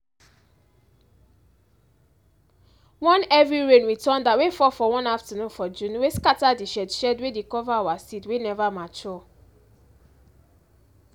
one heavy rain with thunder wey fall for one afternoon for june wey scatter the shed shed wey dey cover our seed wey never mature.